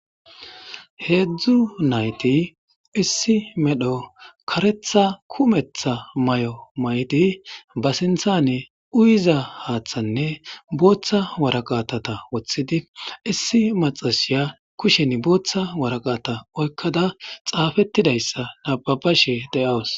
heedzdzu nayti issi medho karetha kumetha may7o may7di ba sinthane uyiza haaththanne booththa waraqatata woththidi issi maxashiya kushen booththa waraqata oykkada xaafettidayssa nababashe de7awus